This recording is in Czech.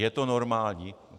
Je to normální?